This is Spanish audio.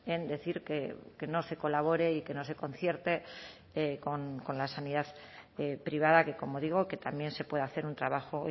en decir que no se colabore y que no se concierte con la sanidad privada que como digo que también se puede hacer un trabajo